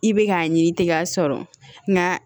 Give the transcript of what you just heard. I bɛ k'a ɲini tɛgɛ sɔrɔ nka